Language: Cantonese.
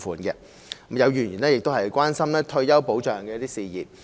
有議員亦關心退休保障的事宜。